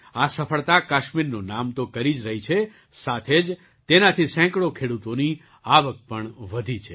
આ સફળતા કાશ્મીરનું નામ તો કરી જ રહી છે સાથે જ તેનાથી સેંકડો ખેડૂતોની આવક પણ વધી છે